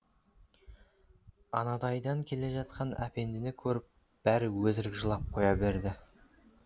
анадайдан келе жатқан әпендіні көріп бәрі өтірік жылап қоя береді